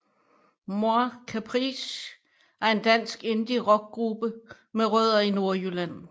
moi Caprice er en dansk indierockgruppe med rødder i Nordjylland